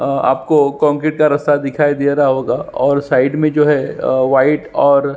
अ आपको कंक्रीट का रस्ता दिखाई दे रहा होगा और साइड में जो है वाइट और --